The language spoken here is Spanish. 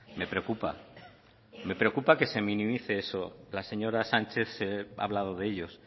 me preocupa me preocupa que se minimice eso la señora sánchez ha hablado de ellos